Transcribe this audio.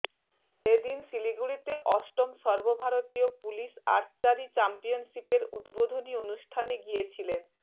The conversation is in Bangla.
এ দিন শিলিগুড়িতে অষ্টম সর্বভারতীয় পুলিশ আর্চারি চ্যাম্পিয়নশিপের উদ্বোধনী অনুষ্ঠানে গিয়েছিলেন